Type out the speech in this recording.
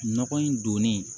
Nɔgɔ in donni